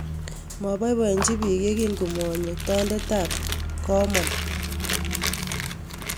Mapoipoechi piik ye kiin komanyo tondetap komon